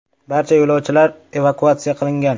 Barcha yo‘lovchilar evakuatsiya qilingan.